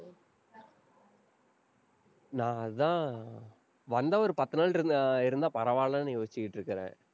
நான் அதான், வந்தா ஒரு பத்து நாள் இருந்~ இருந்தா, பரவாயில்லைன்னு யோசிச்சுக்கிட்டிருக்கிறேன்.